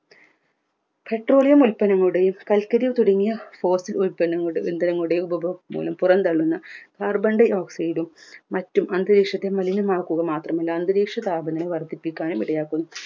petroleum ഉൽപന്നങ്ങളുടെയും കൽക്കരി തുടങ്ങിയ fossil ഉൽപ്പന്നങ്ങളുടെയും ഇന്ധനങ്ങളുടെയും ഉപ പുറം തള്ളുന്ന carbon dioxide മറ്റും അന്തരീക്ഷത്തെ മലിനമാക്കുക മാത്രമല്ല അന്തരീക്ഷ താപനില വർദ്ധിപ്പിക്കാനും ഇടയാക്കുന്നു